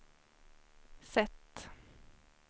sätt